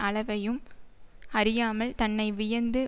அளவையும் அறியாமல் தன்னை வியந்து